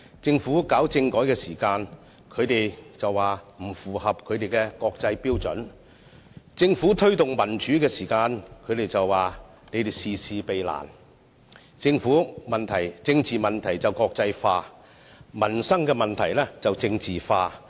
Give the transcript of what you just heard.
政府推行政改時，他們便說方案不符合國際標準；政府推動民主時，他們便說政府事事避難；他們把政治問題國際化，把民生問題政治化。